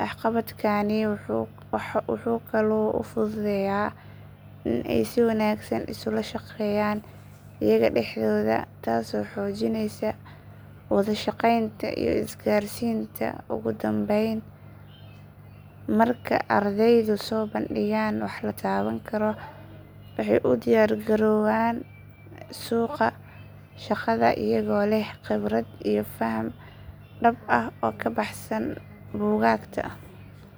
Waxqabadkani wuxuu kaloo u fududeeyaa in ay si wanaagsan isula shaqeeyaan iyaga dhexdooda taasoo xoojinaysa wada shaqeynta iyo isgaarsiinta. Ugu dambayn, marka ardaydu soo bandhigaan wax la taaban karo waxay u diyaargarowdaan suuqa shaqada iyagoo leh khibrad iyo faham dhab ah oo ka baxsan buugaagta.